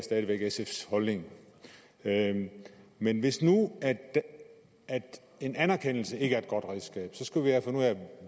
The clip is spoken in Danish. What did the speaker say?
sfs holdning men hvis nu en anerkendelse ikke er et godt redskab skal vi have fundet ud af